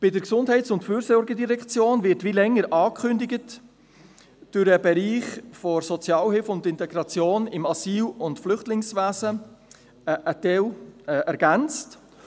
Die Gesundheits- und Fürsorgedirektion wird, wie schon länger angekündigt, um den Bereich Sozialhilfe und Integration im Asyl- und Flüchtlingswesen ergänzt.